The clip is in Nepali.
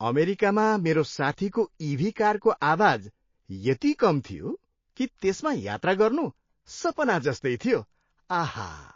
अमेरिकामा मेरो साथीको इभी कारको आवाज यति कम थियो कि त्यसमा यात्रा गर्नु सपना जस्तै थियो। आहा!